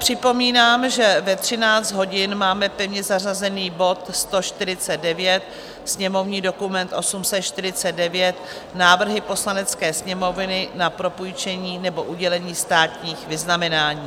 Připomínám, že ve 13 hodin máme pevně zařazený bod 149, sněmovní dokument 849, návrhy Poslanecké sněmovny na propůjčení nebo udělení státních vyznamenání.